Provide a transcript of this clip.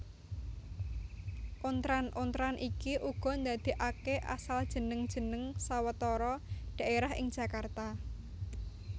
Ontran ontran iki uga ndadèkaké asal jeneng jeneng sawetara dhaérah ing Jakarta